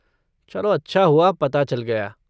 चलो अच्छा हुआ पता चल गया।